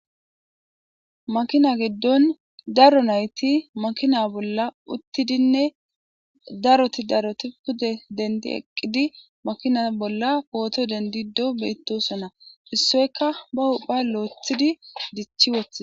Makina giddon daro nayti makina bolla uttidinne daroti daroti pude dendi eqqidi makina bolla pooto dendido beettosonna issoyka ba hupha loethidi dichi wothie.